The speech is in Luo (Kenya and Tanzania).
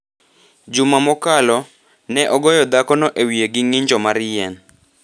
Juma mokalo, ne ogoyo dhakono e wiye gi ng’injo mar yien.